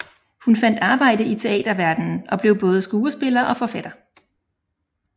Hun fandt arbejde i teaterverdenen og blev både skuespiller og forfatter